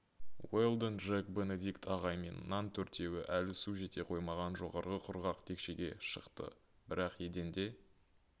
уэлдон джек бенедикт ағай мен нан төртеуі әлі су жете қоймаған жоғарғы құрғақ текшеге шықты бірақ еденде